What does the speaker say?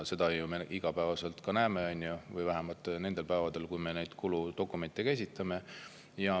Seda me näeme igapäevaselt või vähemalt nendel päevadel, kui me neid kuludokumente esitame.